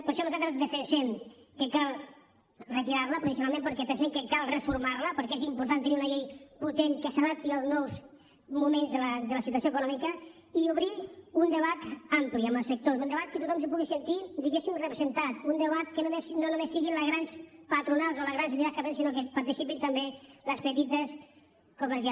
per això nosaltres defensem que cal retirar la provisionalment perquè pensem que cal reformar la perquè és important tenir una llei potent que s’adapti als nous moments de la situació econòmica i obrir un debat ampli amb els sectors un debat en què tothom se pugui sentir diguéssim representat un debat que no només siguin les grans patronals o les grans entitats sinó que hi participin també les petites cooperatives